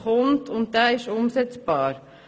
Dieser Antrag ist umsetzbar.